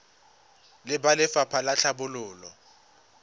le ba lefapha la tlhabololo